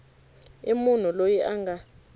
i munhu loyi a nga